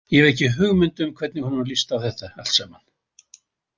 Ég hef ekki hugmynd um hvernig honum líst á þetta allt saman.